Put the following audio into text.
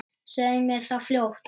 Segðu mér það fljótt.